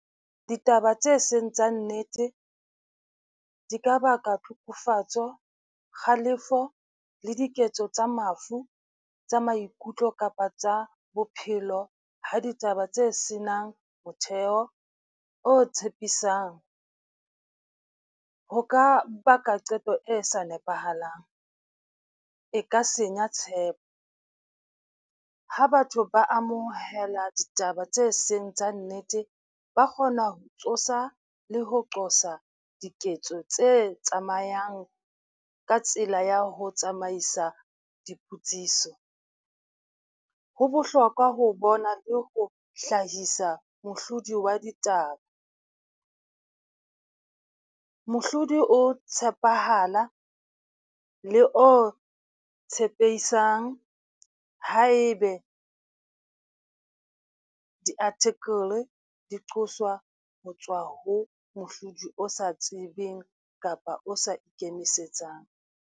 Ditaba tse seng tsa nnete di ka baka hlokofatsa, kgalefo le diketso tsa mafu tsa maikutlo kapa tsa bophelo ha ditaba tse senang motheo o tshepisang ho ka baka qeto e sa nepahalang e ka senya tshepo ha batho ba amohela ditaba tse seng tsa nnete, ba kgona ho tsosa le ho qosa diketso tse tsamayang ka tsela ya ho tsamaisa dipotsiso, ho bohlokwa ho bona le ho hlahisa mohlodi wa ditaba. Mohlodi o tshepahala le o tshepesang haebe di-article di qoswa ho tswa ho mohlodi o sa tsebeng kapa o sa ikemisetsang.